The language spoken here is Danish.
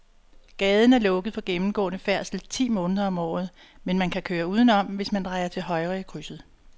Gaden er lukket for gennemgående færdsel ti måneder om året, men man kan køre udenom, hvis man drejer til højre i krydset.